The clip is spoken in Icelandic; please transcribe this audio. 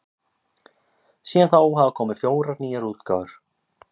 síðan þá hafa komið fjórar nýjar útgáfur